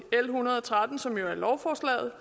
en hundrede og tretten som jo er lovforslaget og